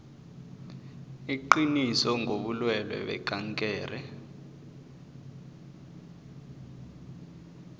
iqiniso ngobulwelwe bekankere